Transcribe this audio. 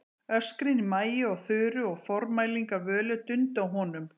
Öskrin í Maju og Þuru og formælingar Völu dundu á honum.